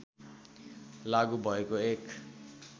लागू भएको एक